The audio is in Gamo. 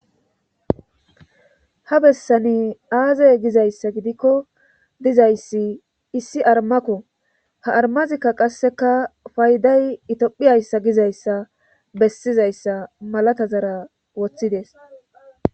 ha bessani aazay gizayssa gidikko dizayssi issi armakko ha armazikka qasseka fayday itophiyayssa gizayssa bessizayssa malata zara woththides